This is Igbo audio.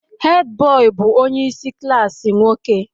Hed bọị bụ onye isi klaasị nwoke